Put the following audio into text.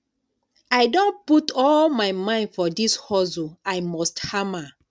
i don put all my mind for dis hustle i must hama